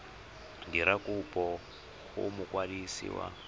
dira kopo go mokwadisi wa